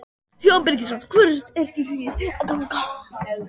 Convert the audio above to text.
Símon Birgisson: Hvert eruð þið að ganga?